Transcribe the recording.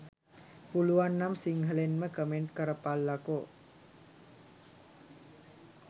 පුලුවන්නම් සිංහලෙන්ම කමෙන්ට් කරපල්ලකෝ